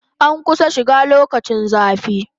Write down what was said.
An kusan shiga lokacin zafi